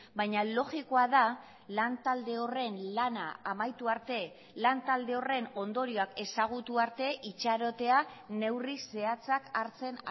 baina logikoa da lantalde horren lana amaitu arte lantalde horren ondorioak ezagutu arte itxarotea neurri zehatzak hartzen